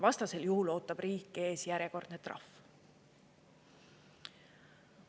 Vastasel juhul ootab riiki ees järjekordne trahv.